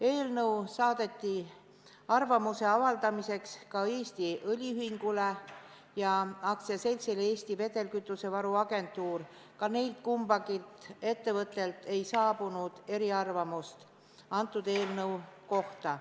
Eelnõu saadeti arvamuse avaldamiseks ka Eesti Õliühingule ja AS-ile Eesti Vedelkütusevaru Agentuur, ka neilt ei saabunud eriarvamust selle eelnõu kohta.